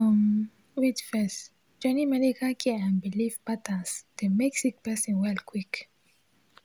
um wait first—joining medical care and biliv patterns dey mek sik person well quick